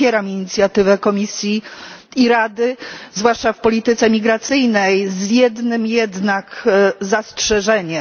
Popieram inicjatywę Komisji i Rady, zwłaszcza w polityce migracyjnej, z jednym jednak zastrzeżeniem.